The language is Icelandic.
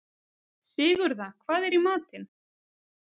Sigurða, hvað er í matinn?